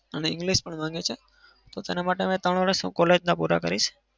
અને english પણ માંગે છે. તો તેના માટે હવે ત્રણ વરસ હું college ના પુરા કરીશ.